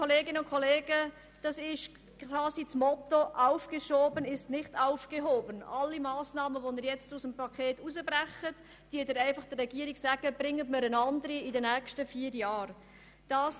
Bei allen Massnahmen, die Sie jetzt aus dem Paket herausbrechen, sagen Sie der Regierung, sie müsse in den nächsten vier Jahren einen Ersatz dafür liefern.